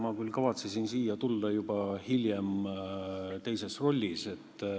Ma küll kavatsesin siia tulla hiljem juba teises rollis.